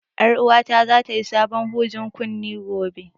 Ƴar uwata za ta yi sabon hujen kunne gobe